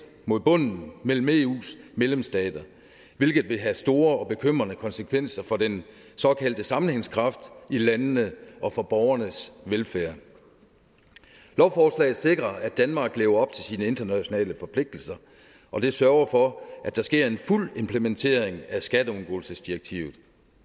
mod bunden mellem eus medlemsstater hvilket vil have store og bekymrende konsekvenser for den såkaldte sammenhængskraft i landene og for borgernes velfærd lovforslaget sikrer at danmark lever op til sine internationale forpligtelser og det sørger for at der sker en fuld implementering af skatteundgåelsesdirektivet